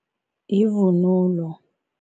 Yivunulo.